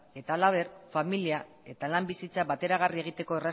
eta halaber familia eta lan bizitza bateragarri egiteko